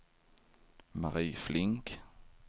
Mari Flink